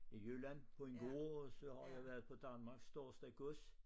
I Jylland på en gård og så har jeg været på Danmarks største gods